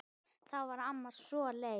Og þá verður amma svo leið.